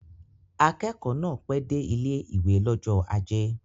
Akẹ́kọ̀ọ́ náà pẹ́ dé ilé-ìwé l'ọ́jọ́ ajé